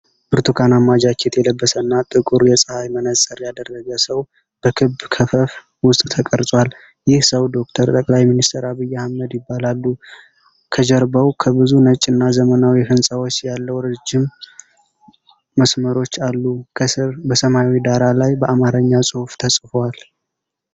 ብርቱካናማ ጃኬት የለበሰና ጥቁር የፀሐይ መነጽር ያደረገ ሰው በክብ ክፈፍ ውስጥ ተቀርጿል። ይህ ሰው ዶክተር ጠቅላይ ሚኒስተር አብይ አህመድ ይባላሉ። ከጀርባው ከብዙ ነጭና ዘመናዊ ሕንፃዎች ያለው ረጅም መስመሮች አሉ። ከስር በሰማያዊ ዳራ ላይ በአማርኛ ጽሑፍ ተጽፎአል።